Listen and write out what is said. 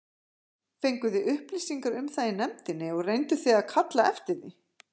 Fenguð þið upplýsingar um það í nefndinni og reynduð þið að kalla eftir því?